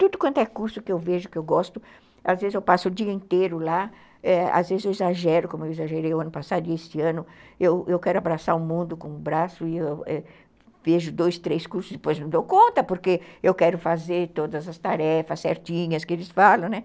Tudo quanto é curso que eu vejo, que eu gosto, às vezes eu passo o dia inteiro lá, às vezes eu exagero, como eu exagerei o ano passado e este ano, eu quero abraçar o mundo com o braço e eu vejo dois, três cursos e depois não dou conta, porque eu quero fazer todas as tarefas certinhas que eles falam, né?